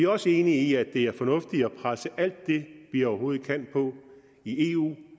også enige i at det er fornuftigt at presse alt det vi overhovedet kan i eu